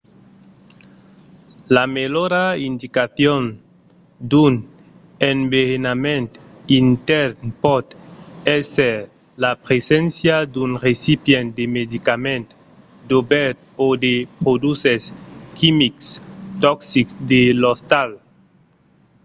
la melhora indicacion d'un enverenament intèrn pòt èsser la preséncia d'un recipient de medicaments dobèrt o de produches quimics toxics de l'ostal